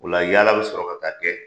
O la , yaala bɛ sɔrɔ ka kɛ.